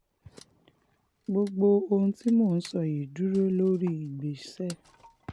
gbogbo ohun tí mo sọ yìí dúró lórí ìgbésẹ̀